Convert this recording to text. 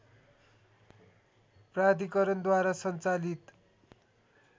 प्राधिकरणद्वारा सञ्चालित